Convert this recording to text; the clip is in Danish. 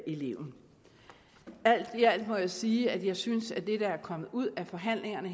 eleven alt i alt må jeg sige at jeg synes at det der er kommet ud af forhandlingerne